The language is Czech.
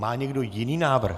Má někdo jiný návrh?